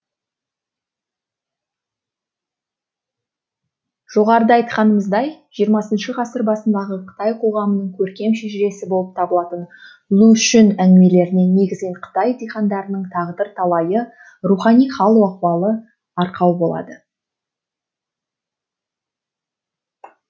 жоғарыда айтқанымыздай жиырмасыншы ғасыр басындағы қытай қоғамының көркем шежіресі болып табылатын лу шүн әңгімелеріне негізінен қытай дихандарының тағдыр талайы рухани хал ақуалы арқау болады